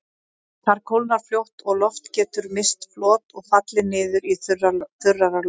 Þar kólnar fljótt og loft getur misst flot og fallið niður í þurrara loft.